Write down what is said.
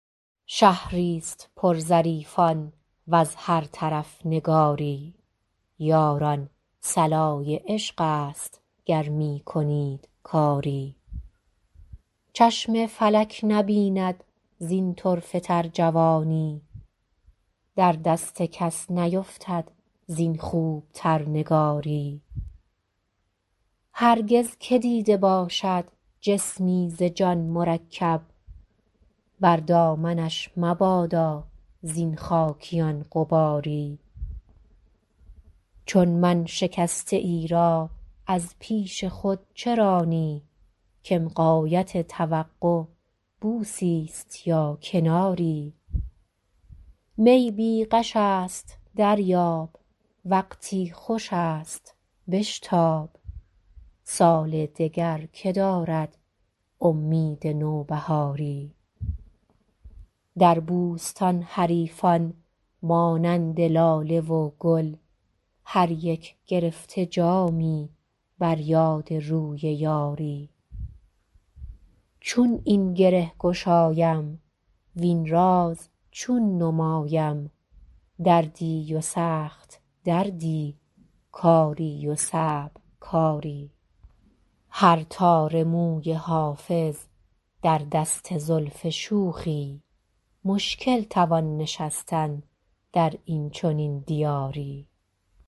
شهری ست پر ظریفان وز هر طرف نگاری یاران صلای عشق است گر می کنید کاری چشم فلک نبیند زین طرفه تر جوانی در دست کس نیفتد زین خوب تر نگاری هرگز که دیده باشد جسمی ز جان مرکب بر دامنش مبادا زین خاکیان غباری چون من شکسته ای را از پیش خود چه رانی کم غایت توقع بوسی ست یا کناری می بی غش است دریاب وقتی خوش است بشتاب سال دگر که دارد امید نوبهاری در بوستان حریفان مانند لاله و گل هر یک گرفته جامی بر یاد روی یاری چون این گره گشایم وین راز چون نمایم دردی و سخت دردی کاری و صعب کاری هر تار موی حافظ در دست زلف شوخی مشکل توان نشستن در این چنین دیاری